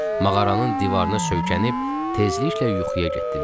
Mağaranın divarına söykənib tezliklə yuxuya getdilər.